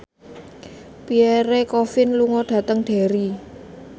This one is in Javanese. Pierre Coffin lunga dhateng Derry